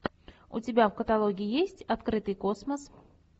у тебя в каталоге есть открытый космос